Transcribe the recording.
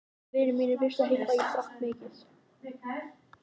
Vinir mínir vissu ekki hvað ég drakk mikið.